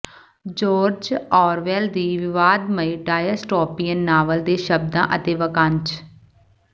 George Orwell ਦੀ ਵਿਵਾਦਮਈ dystopian novel ਦੇ ਸ਼ਬਦਾਂ ਅਤੇ ਵਾਕਾਂਸ਼